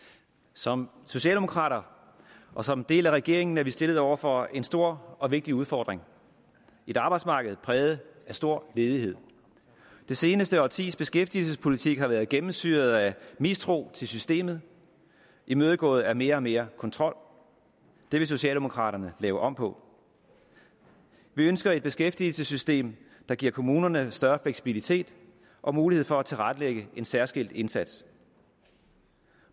som socialdemokrater og som en del af regeringen er vi stillet over for en stor og vigtig udfordring et arbejdsmarked præget af stor ledighed det seneste årtis beskæftigelsespolitik har været gennemsyret af mistro til systemet imødegået af mere og mere kontrol det vil socialdemokraterne lave om på vi ønsker et beskæftigelsessystem der giver kommunerne større fleksibilitet og mulighed for at tilrettelægge en særskilt indsats